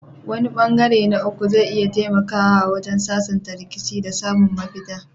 Wani ɓangare na uku zai iya taimakawa wajen sasanta rikicin da samun mafita.